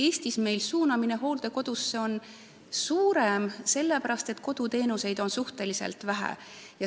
Eestis suunatakse inimesi hooldekodusse rohkem, sellepärast et koduteenuseid on suhteliselt vähe.